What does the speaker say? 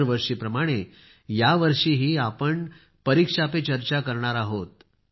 दरवर्षीप्रमाणे यावर्षीही आपण परीक्षा पे चर्चा करणार आहोत